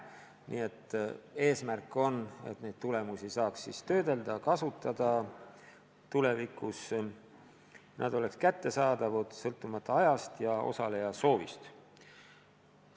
Nii et eesmärk on, et neid tulemusi saaks siis töödelda, kasutada, tulevikus nad oleks kättesaadavad, sõltumata ajast ja osaleja soovist.